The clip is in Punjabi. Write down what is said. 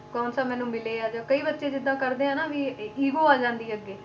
ਕੋਨਸਾ ਮੈਨੂੰ ਮਿਲੇ ਆ ਜਾਂ ਕਈ ਬੱਚੇ ਜਿੱਦਾਂ ਕਰਦੇ ਆ ਨਾ ਵੀ ego ਆ ਜਾਂਦੀ ਹੈ ਅੱਗੇ,